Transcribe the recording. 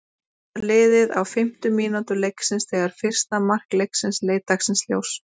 Aðeins var liðið á fimmtu mínútu leiksins þegar fyrsta mark leiksins leit dagsins ljós.